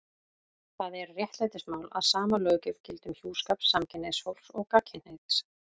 Það er réttlætismál að sama löggjöf gildi um hjúskap samkynhneigðs fólks og gagnkynhneigðs.